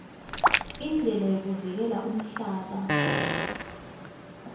indlela yokuvikela umhlaba